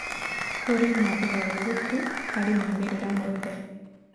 Kũrĩ na ũgarũrũku harĩ moimĩrĩro mothe.